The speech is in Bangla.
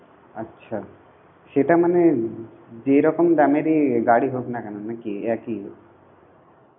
আচ্ছা সেটা মানে যেরকম দামেরই গাড়ি হোক না কেন নাকি একই?